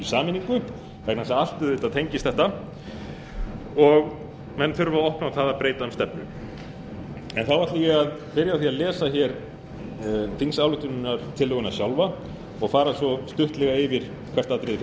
sameiningu vegna þess að allt auðvitað tengist þetta og menn þurfa að opna á það að breyta um stefnu þá ætla ég að byrja á því að lesa þingsályktunartillöguna sjálfa og fara svo stuttlega yfir hvert atriði fyrir